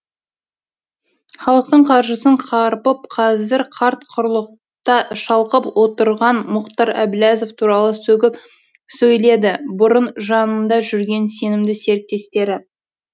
халықтың қаржысын қарпып қазір қарт құрлықта шалқып отырған мұхтар әбіләзов туралы сөгіп сөйледі бұрын жанында жүрген сенімді серіктестері